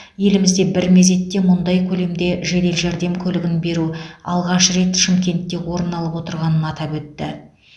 елімізде бір мезетте мұндай көлемде жедел жәрдем көлігін беру алғаш рет шымкентте орын алып отырғанын атап өтті